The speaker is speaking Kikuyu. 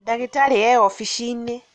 ndagĩtarĩ e ofici-inĩ